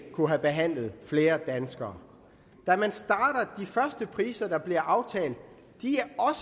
kunnet behandle flere danskere de første priser der blev aftalt